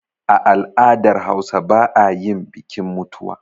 A al'dar hausa ba ayin bikin mutuwa